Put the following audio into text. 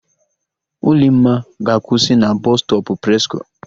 Ulimma ga-akwụsị na Bọsụ stọpụ Presko.